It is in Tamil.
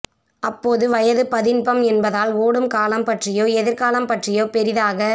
அப்போது வயது பதின்பம் என்பதால் ஓடும் காலம் பற்றியோ எதிர்காலம் பற்றியோ பெரிதாக